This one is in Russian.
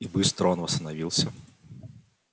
и быстро он восстановился